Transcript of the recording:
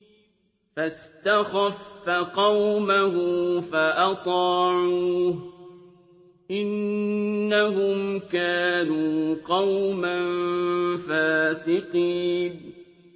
فَاسْتَخَفَّ قَوْمَهُ فَأَطَاعُوهُ ۚ إِنَّهُمْ كَانُوا قَوْمًا فَاسِقِينَ